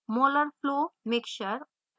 molar flow mixture/acetic acid